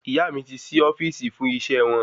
Ìyá mí ti sí ofíìsì fún iṣẹ wọn